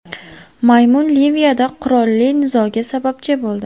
Maymun Liviyada qurolli nizoga sababchi bo‘ldi.